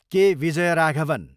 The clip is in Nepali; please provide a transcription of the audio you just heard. के. विजयराघवन